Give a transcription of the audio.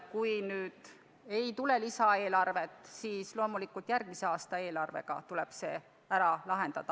Kui ei tule lisaeelarvet, siis loomulikult järgmise aasta eelarvega tuleb see ära lahendada.